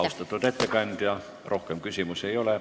Austatud ettekandja, rohkem küsimusi ei ole.